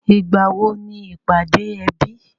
Ìgbàwo ni ìpàdé ẹbí?